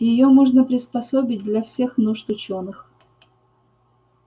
её можно приспособить для всех нужд учёных